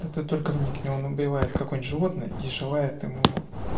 это только вникни он убивает как он животное и желает ему